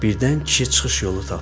Birdən kişi çıxış yolu tapdı.